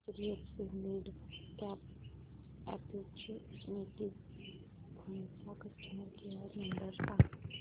HDFC midcap opportunities fund चा customer care number सांग